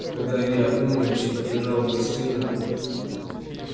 когда я опомнилась и побежала в гостиную